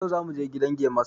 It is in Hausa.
Yau zamu je gidan gemasta